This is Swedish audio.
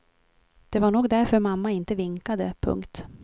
Det var nog därför mamma inte vinkade. punkt